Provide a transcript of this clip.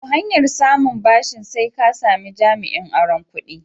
To, hanyar samun ɓashin sai ka sami jami'in auron kuɗi.